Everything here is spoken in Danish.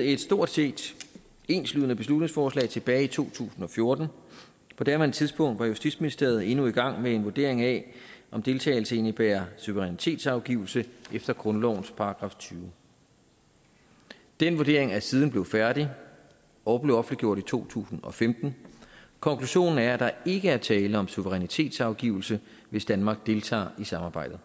et stort set enslydende beslutningsforslag tilbage i to tusind og fjorten på daværende tidspunkt var justitsministeriet endnu i gang med en vurdering af om deltagelse ville indebære suverænitetsafgivelse efter grundlovens § tyvende den vurdering er siden blevet færdig og blev offentliggjort i to tusind og femten konklusionen er at der ikke er tale om suverænitetsafgivelse hvis danmark deltager i samarbejdet